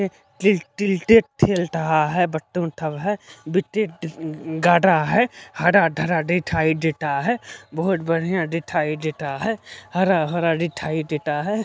Till टिल टेट ठेल तहा है बच्चों सब है हर ढरा डीठाइ डेटा है बोहोट बढ़िया डीठाई डेटा है हरा हरा डीठाई डेटा है।